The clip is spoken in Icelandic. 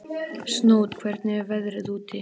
Snót, hvernig er veðrið úti?